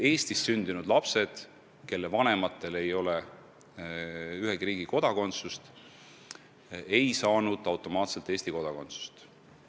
Eestis sündinud lapsed, kelle vanematel ei ole ühegi riigi kodakondsust, ei saanud varem automaatselt Eesti kodakondsust.